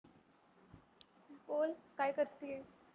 बोल काय करते आहे?